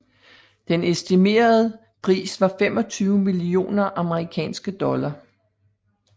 Den estimerede pris var 25 millioner amerikanske dollars